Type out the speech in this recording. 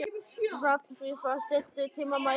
Hrafnfífa, stilltu tímamælinn á fimmtíu og sjö mínútur.